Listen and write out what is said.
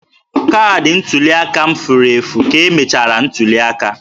Kaadị ntuli aka m furu efu ka emechara ntuli aka